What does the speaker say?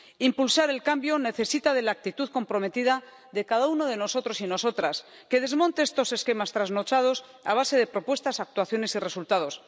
Impulsar el cambio necesita de una actitud comprometida de cada uno de nosotros y nosotras que desmonte estos esquemas trasnochados a base de propuestas, actuaciones y resultados.